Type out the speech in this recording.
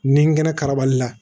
Ni ngɛnɛ karabali la